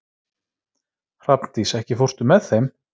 Hrafndís, ekki fórstu með þeim?